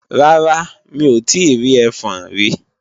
Rárá, mi ò tíì rí ẹfọn rí